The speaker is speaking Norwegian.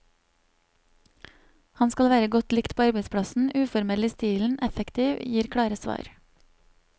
Han skal være godt likt på arbeidsplassen, uformell i stilen, effektiv, gir klare svar.